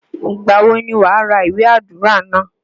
Ìgbà wo ni wàá ra iwe àdúrà náà?